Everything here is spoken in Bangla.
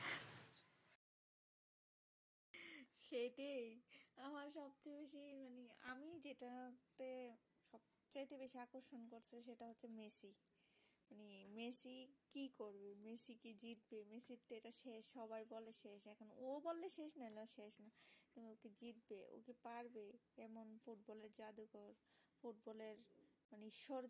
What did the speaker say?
এর